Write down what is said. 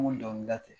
N ko dɔnkilida tɛ